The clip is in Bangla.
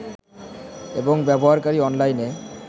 এবং ব্যবহারকারী অনলাইনে